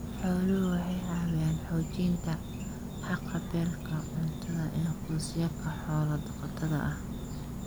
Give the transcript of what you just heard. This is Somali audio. Xooluhu waxay caawiyaan xoojinta haqab-beelka cuntada ee qoysaska xoolo-dhaqatada ah.